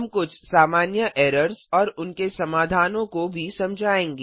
हम कुछ सामान्य एरर्स और उनके समाधानों को भी समझायेंगे